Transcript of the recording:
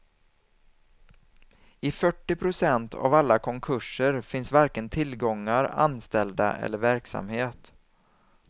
I fyrtio procent av alla konkurser finns varken tillgångar, anställda eller verksamhet.